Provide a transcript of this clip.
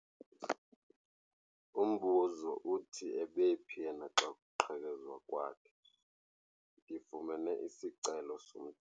Umbuzo uthi ebephi yena xa kuqhekezwa kwakhe? Ndifumene isicelo.